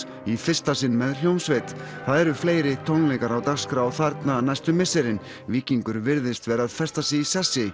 í fyrsta sinn með hljómsveit það eru fleiri tónleikar á dagskrá þarna næstu misserin Víkingur virðist vera að festa sig í sessi